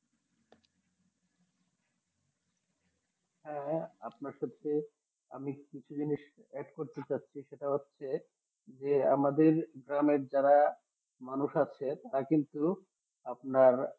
হ্যাঁ আপনার সাথে অমনি কিছু দিনে সেটা হচ্ছে যে আমাদের গ্রামে যারা মানুষ আছে তারা কিন্তু আপনার